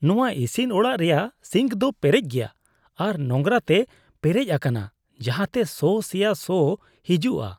ᱱᱚᱶᱟ ᱤᱥᱤᱱ ᱚᱲᱟᱜ ᱨᱮᱭᱟᱜ ᱥᱤᱝᱠ ᱫᱚ ᱯᱮᱨᱮᱪ ᱜᱮᱭᱟ ᱟᱨ ᱱᱳᱝᱨᱟ ᱛᱮ ᱯᱮᱨᱮᱪ ᱟᱠᱟᱱᱟ ᱡᱟᱦᱟᱸᱛᱮ ᱥᱚ ᱥᱮᱭᱟ ᱥᱚ ᱦᱤᱡᱩᱜᱼᱟ ᱾